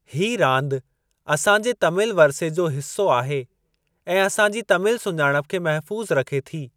हीअ रांदि असां जे तमिल वरिसे जो हिस्सो आहे ऐं असां जी तमिल सुञाणप खे महफू़ज़ु रखे थी।